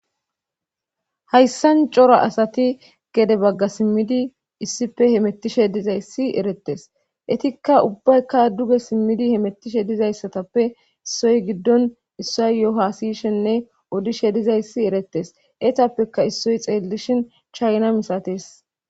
hayssan cora asati gede bagga simmidi issife hemettishe dizayssi eretes etikka ubbaykka duge simmidi hemettishe dizayssatappe issoy giddon issa yohaasiyshenne odishe dizayssi eretes eetappeka issoy xeellishin chayna misates